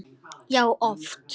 Já, oft.